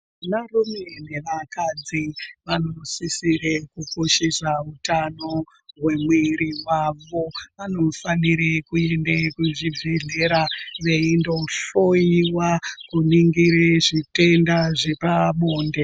Varume nevakadzi vanosisire kukoshesa utano hwemwiri wavo. Vanofanire kuenda kuzvibhedhlera veyindohloyiwa, kuningire zvitenda zvepabonde.